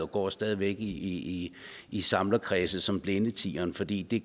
går stadig væk i i samlerkredse som blindetieren fordi det